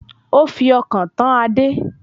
Ó fi ọkàn tán Adé